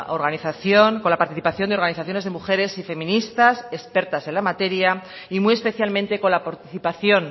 organización con la participación de organizaciones de mujeres y feministas expertas en la materia y muy especialmente con la participación